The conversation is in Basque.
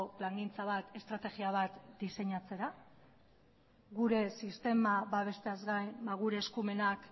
plangintza bat estrategia bat diseinatzera gure sistema babesteaz gain gure eskumenak